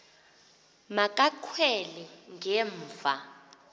ma kakhwele ngemva